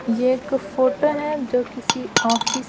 ये एक फोटो है जो किसी ऑफिस --